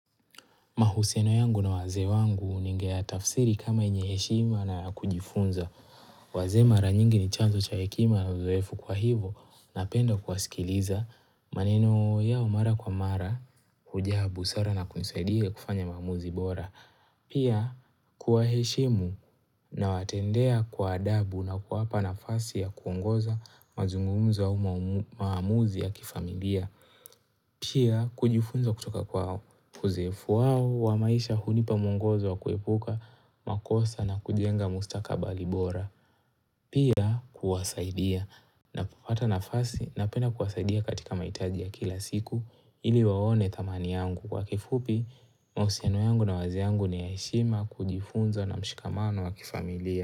Mahusiano yangu na wazee wangu ningeyatafsiri kama yenye heshima na ya kujifunza. Wazee mara nyingi ni chanzo cha hekima na uzoefu kwa hivo napenda kuwasikiliza. Maneno yao mara kwa mara, hujaa busara na kunisaidia kufanya maamuzi bora. Pia kuwaheshimu nawatendea kwa adabu na kuwapa nafasi ya kuongoza mazungumzo au maamuzi ya kifamilia. Pia, kujifunza kutoka kwao. Kuzifu wao, wa maisha hunipa mungozo wa kuepuka, makosa na kujenga mustakabali bora. Pia, kuwasaidia. Ninapopata nafasi napenda kuwasaidia katika mahitaji ya kila siku ili waone thamani yangu. Kwa kifupi, mahusiano yangu na wazi yangu ni ya heshima kujifunza na mshikamano wa kifamilia.